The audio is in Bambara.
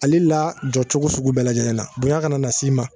Ale la jɔcogo sugu bɛɛ lajɛlen na bonya kana na s'i ma